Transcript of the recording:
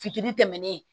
Fitiri tɛmɛnen